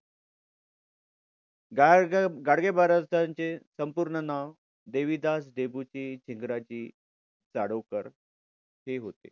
गाडगे महाराजांचे संपूर्ण नाव देविदास डेबूजी झिंगराजी जानोरकर हे होते.